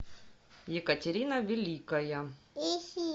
екатерина великая